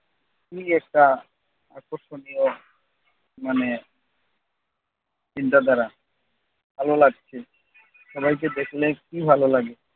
কি একটা আকর্ষণীয় মানে চিন্তাধারা। ভালো লাগছে। সবাইকে দেখলে কি ভালো লাগে।